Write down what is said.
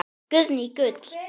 Guðný: Gull?